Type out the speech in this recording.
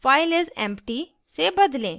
file is empty से बदलें